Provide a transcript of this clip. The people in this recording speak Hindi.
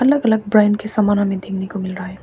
अलग अलग ब्रांड के समान अनेक देखने को मिल रहा है।